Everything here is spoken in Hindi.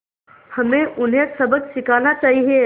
हमें उन्हें सबक सिखाना चाहिए